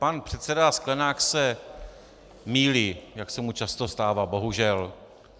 Pan předseda Sklenák se mýlí, jak se mu často stává, bohužel.